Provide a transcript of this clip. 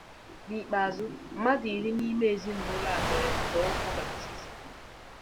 N'ikpeazụ, mmadụ iri n'ime ezinụlọ a mere nzọụkwụ baptizim.